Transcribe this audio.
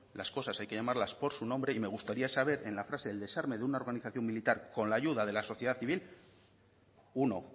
las cosas hay que llamarlas por su nombre y me gustaría saber en la frase el desarme de una organización militar con la ayuda de la sociedad civil uno